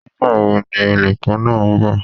Nígbàwo ni olùkó náá nbò?